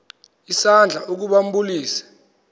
isandla ukuba ambulise